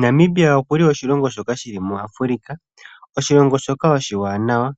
Namibia oshilongo shoka shili mu Afrika. Oshilongo shoka oshiwanawa